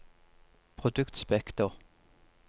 produktspekter